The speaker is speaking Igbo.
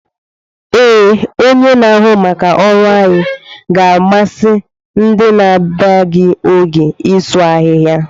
Ee, onye na-ahụ maka ọrụ anyị ga-amasị ndị na-abịaghi oge isu ahịhịa.